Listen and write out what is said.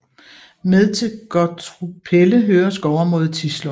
Med til Gottrupelle hører skovområdet Tislund